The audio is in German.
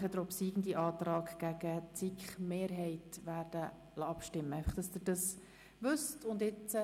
Den obsiegenden Antrag bringen wir anschliessend gegen den Antrag der SiK-Mehrheit zur Abstimmung.